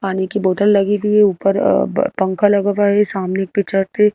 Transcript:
पानी की बोतल लगी हुई है ऊपर पंखा लगा हुआ है सामने एक पे छत है।